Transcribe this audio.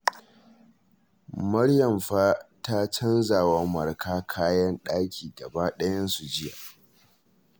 Maryam fa ta canza wa Marka kayan ɗaki gabaɗayansu jiya